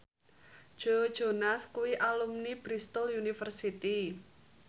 Joe Jonas kuwi alumni Bristol university